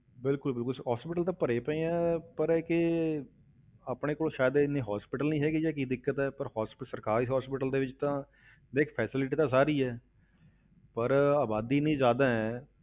ਬਿਲਕੁਲ ਬਿਲਕੁਲ hospital ਤਾਂ ਭਰੇ ਹੀ ਪਏ ਹੈ, ਪਰ ਇੱਕ ਇਹ ਆਪਣੇ ਕੋਲ ਸ਼ਾਇਦ ਇੰਨੇ hospital ਨੀ ਹੈਗੇ ਜਾਂ ਕੀ ਦਿੱਕਤ ਹੈ, ਪਰ hospital ਸਰਕਾਰੀ hospital ਦੇ ਵਿੱਚ ਤਾਂ ਦੇਖ facility ਤਾਂ ਸਾਰੀ ਹੈ ਪਰ ਆਬਾਦੀ ਇੰਨੀ ਜ਼ਿਆਦਾ ਹੈ,